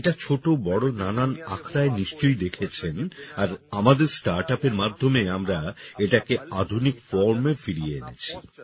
আপনারা এটা ছোট বড় নানা আখড়ায় নিশ্চই দেখেছেন আর আমাদের স্টার্টআপ এর মাধ্যমে আমরা এটাকে আধুনিক formএ ফিরিয়ে এনেছি